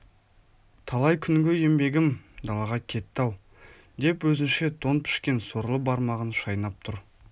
талай күнгі еңбегім далаға кетті-ау деп өзінше тон пішкен сорлы бармағын шайнап тұр